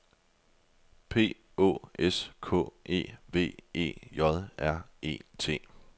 P Å S K E V E J R E T